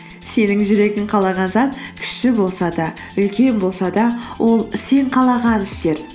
сенің жүрегің қалаған зат кіші болса да үлкен болса да ол сен қалаған істер